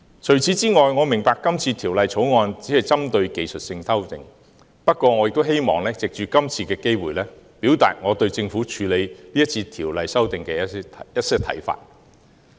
此外，我明白《條例草案》只是針對技術性修訂，不過我亦希望藉着今次機會，表達我對政府今次處理《條例草案》的一些看法。